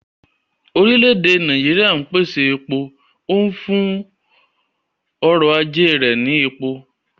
Orílẹ̀ èdè Nàíjíríà ń pèsè epo, ó ń fún ọrọ̀ ajé rẹ̀ ní epo.